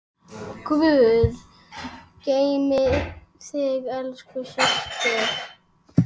Guð geymi þig, elsku systir.